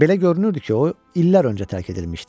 Belə görünürdü ki, o, illər öncə tərk edilmişdi.